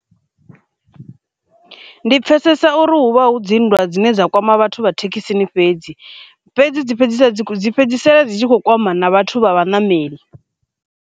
Ndi pfesesa uri hu vha hu dzinndwa dzine dza kwama vhathu vha thekhisini fhedzi, fhedzi dzi fhedzi dzi fhedzisela dzi tshi kho kwama na vhathu vha vhaṋameli.